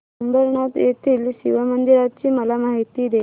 अंबरनाथ येथील शिवमंदिराची मला माहिती दे